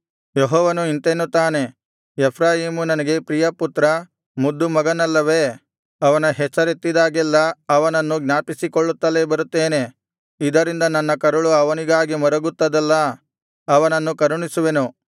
ಯೆಹೋವನು ಇಂತೆನ್ನುತ್ತಾನೆ ಎಫ್ರಾಯೀಮು ನನಗೆ ಪ್ರಿಯಪುತ್ರ ಮುದ್ದುಮಗುವಲ್ಲವೇ ಅವನ ಹೆಸರೆತ್ತಿದಾಗೆಲ್ಲಾ ಅವನನ್ನು ಜ್ಞಾಪಿಸಿಕೊಳ್ಳುತ್ತಲೇ ಬರುತ್ತೇನೆ ಇದರಿಂದ ನನ್ನ ಕರುಳು ಅವನಿಗಾಗಿ ಮರುಗುತ್ತದಲ್ಲಾ ಅವನನ್ನು ಕರುಣಿಸುವೆನು